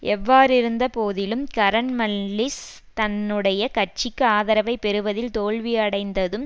எவ்வாறிருந்தபோதிலும் Karamanlis தன்னுடைய கட்சிக்கு ஆதரவை பெறுவதில் தோல்வியடைந்ததும்